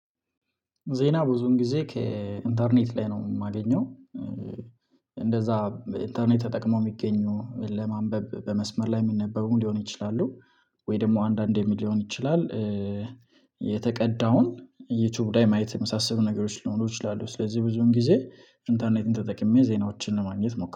ዜና ብዙን ጊዜ ከኢንተርኔት ላይ ነው የማገኘው። እንደዚያ ኢንተርኔት ተጠቅሞ ሚገኙ ለማንበብ በመስመር ላይ የሚነበቡ ሊሆን ይችላሉ። ወይ ደግሞ አንዳንዴ ምን ልሆን ይችላል? የተቀዳውን ዩቲዩብ ላይ ማየት የመሳሰሉ ነገሮች ሊሆኑ ይችላሉ። ስለዚህ ብዙን ጊዜ ኢንተርኔትም ተጠቅሜ ዜናዎችን ለማግኘት ሞክረለሁ